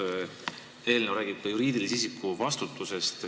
See eelnõu räägib ka juriidilise isiku vastutusest.